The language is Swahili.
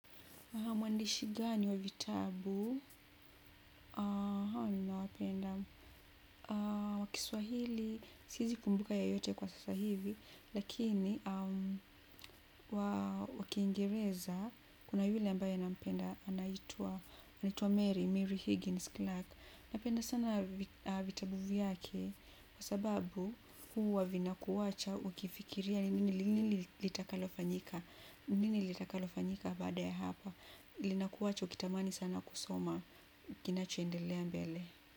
Mwandishi gani wa vitabu? Haa, ninawapenda. Wa kiswahili, siezi kumbuka yeyote kwa sasa hivi, lakini wa kiingereza, kuna yule ambayo nampenda, anaitwa Mary Mary Higgins Clark. Napenda sana vitabu vyake kwa sababu huwa vinakuacha ukifikiria ni nini litakalofanyika baada ya apa lina kuwacha ukitamani sana kusoma. Kinachoendelea mbele.